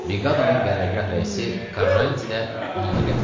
Briqadanın qərərgah rəisi Karranti də onunla gəlmişdi.